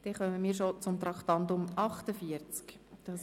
Wir kommen bereits zu Traktandum 48: